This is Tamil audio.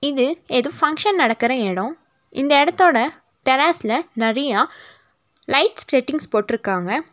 இது எதூ பங்க்ஷன் நடக்குற எடோ இந்த எடத்தோட டெராஸ்ல நறையா லைட்ஸ் செட்டிங்ஸ் போட்ருக்காங்க.